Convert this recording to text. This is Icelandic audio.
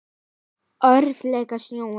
Ótrúleg sjón.